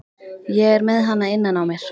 Ég er með hana innan á mér.